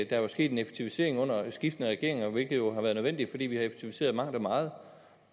der er sket en effektivisering under skiftende regeringer hvilket jo har været nødvendigt fordi vi har effektiviseret mangt og meget